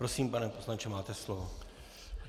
Prosím, pane poslanče, máte slovo.